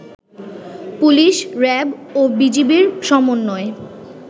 police, RAB ও বিজিবির সমন্বয়ে